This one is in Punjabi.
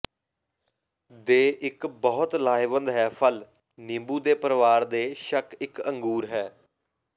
ਦੇ ਇਕ ਬਹੁਤ ਲਾਹੇਵੰਦ ਹੈ ਫਲ ਨਿੰਬੂ ਦੇ ਪਰਿਵਾਰ ਦੇ ਸ਼ੱਕ ਇੱਕ ਅੰਗੂਰ ਹੈ